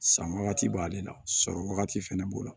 San wagati b'ale la sɔrɔ wagati fɛnɛ b'o la